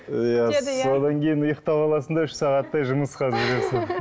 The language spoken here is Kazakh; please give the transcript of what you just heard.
иә содан кейін ұйықтап аласың да үш сағаттай жұмысқа жүгіресің